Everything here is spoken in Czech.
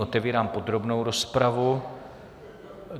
Otevírám podrobnou rozpravu.